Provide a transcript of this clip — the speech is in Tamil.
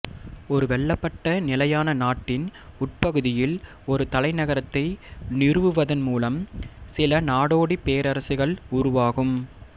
ஒரு வெல்லப்பட்ட நிலையான நாட்டின் உட்பகுதியில் ஒரு தலைநகரத்தை நிறுவுவதன் மூலம் சில நாடோடிப் பேரரசுகள் உருவாகும்